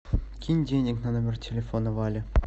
кинь денег на номер телефона вале